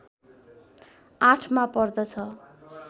८ मा पर्दछ